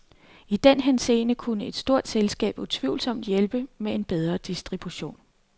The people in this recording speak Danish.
I den henseende kunne et stort selskab utvivlsomt hjælpe med en bedre distribution.